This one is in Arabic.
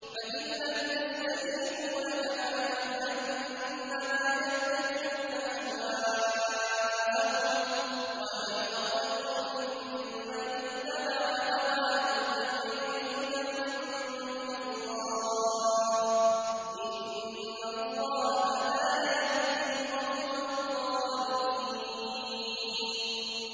فَإِن لَّمْ يَسْتَجِيبُوا لَكَ فَاعْلَمْ أَنَّمَا يَتَّبِعُونَ أَهْوَاءَهُمْ ۚ وَمَنْ أَضَلُّ مِمَّنِ اتَّبَعَ هَوَاهُ بِغَيْرِ هُدًى مِّنَ اللَّهِ ۚ إِنَّ اللَّهَ لَا يَهْدِي الْقَوْمَ الظَّالِمِينَ